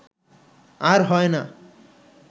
আর হয় না